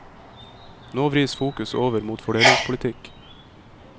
Nå vris fokus over mot fordelingspolitikk.